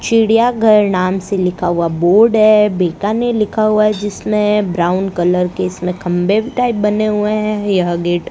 चिड़िया घर नाम से लिखा हुआ बोर्ड हैं बेकाने लिखा हुआ हैं जिसमें ब्राऊन कलर के इसमें खंबे टाइप बने हुए हैं यह गेट --